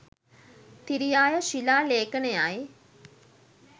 තිරියාය ශිලා ලේඛනයයි.